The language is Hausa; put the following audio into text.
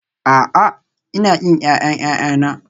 A'a, Ina ƙin ƴaƴan ƴaƴana